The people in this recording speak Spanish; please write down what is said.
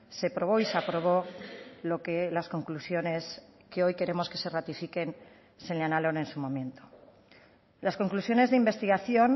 se probó y se aprobó lo que las conclusiones que hoy queremos que se ratifiquen señalaron en su momento las conclusiones de investigación